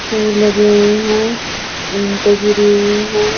फूल लगे हुए हैं ईट गिरे हुए हैं।